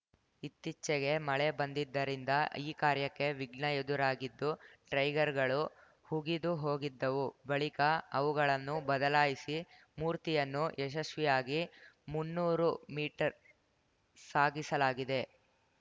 ಇತ್ತೀಚೆಗೆ ಮಳೆ ಬಂದಿದ್ದರಿಂದ ಈ ಕಾರ್ಯಕ್ಕೆ ವಿಘ್ನ ಎದುರಾಗಿದ್ದು ಟ್ರೈಗರ್‌ಗಳು ಹುಗಿದು ಹೋಗಿದ್ದವು ಬಳಿಕ ಅವುಗಳನ್ನು ಬದಲಾಯಿಸಿ ಮೂರ್ತಿಯನ್ನು ಯಶಸ್ವಿಯಾಗಿ ಮುನ್ನೂರು ಮೀಟರ್‌ ಸಾಗಿಸಲಾಗಿದೆ